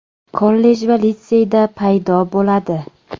kollej va litseyda paydo bo‘ladi.